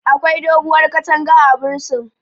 Akwai doguwar katanga a bursin